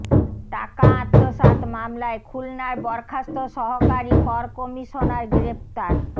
টাকা আত্মসাৎ মামলায় খুলনার বরখাস্ত সহকারী কর কমিশনার গ্রেফতার